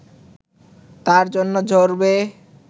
তার জন্য ঝরবে